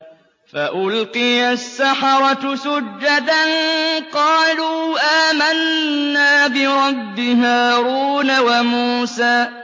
فَأُلْقِيَ السَّحَرَةُ سُجَّدًا قَالُوا آمَنَّا بِرَبِّ هَارُونَ وَمُوسَىٰ